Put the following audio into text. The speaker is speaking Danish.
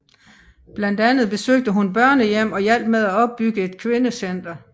Blandt andet besøgte hun børnehjem og hjalp med at opbygge en kvindecenter